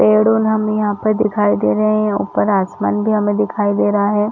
पेड़ उन हमें यहाँ पर दिखाई दे रहे है ऊपर आसमान भी हमे दिखाई दे रहा है ।